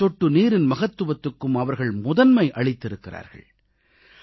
ஒவ்வொரு சொட்டு நீரின் மகத்துவத்துக்கும் அவர்கள் முதன்மை அளித்திருக்கிறார்கள்